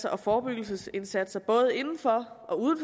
og forebyggelsesindsatser både inden for og uden